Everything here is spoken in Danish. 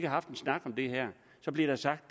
haft en snak om det her bliver der sagt